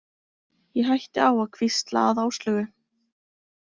Ég hætti á að hvísla að Áslaugu.